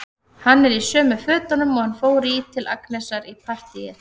Hann er í sömu fötunum og hann fór í til Agnesar í partíið.